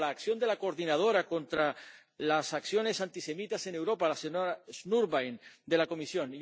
por la acción de la coordinadora contra las acciones antisemitas en Europa, la señora Schnurbein, de la Comisión.